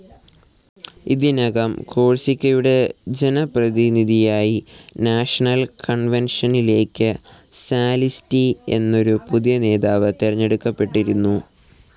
ഇതിനകം കോഴ്‌സിക്കയുടെ ജനപ്രതിനിധിയായി നാഷണൽ കൺവെൻഷനിലേക്ക് സാലിസ്റ്റി എന്നൊരു പുതിയ നേതാവ് തിരഞ്ഞെടുക്കപ്പെട്ടിരുന്നു.